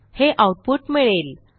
हे आऊटपुट मिळेल